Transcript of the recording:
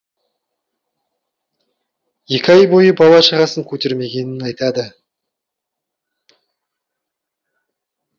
екі ай бойы бала шағасын көрмегенін айтады